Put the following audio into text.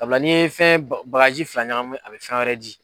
Sabula n'i ye fɛn bagarji fila ɲagamu a be fɛn wɛrɛ di